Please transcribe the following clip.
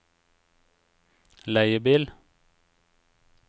leiebil